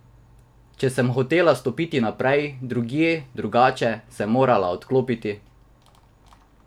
Če sem hotela stopiti naprej, drugje, drugače, sem morala odklopiti.